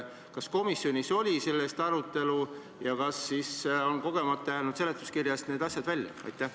Kas komisjonis oli selle üle arutelu ja kas siis on kogemata jäänud seletuskirjast need asjad välja?